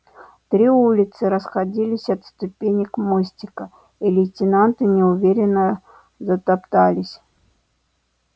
три улицы расходились от ступенек мостика и лейтенанты неуверенно затоптались